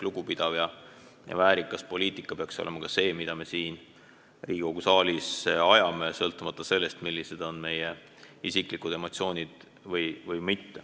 Lugupidav ja väärikas poliitika peaks olema see, mida me siin Riigikogu saalis ajame, sõltumata sellest, millised on meie isiklikud emotsioonid.